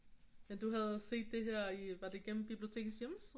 Men du havde set det her var det igennem bibliotekets hjemmeside